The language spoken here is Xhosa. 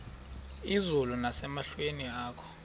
izulu nasemehlweni akho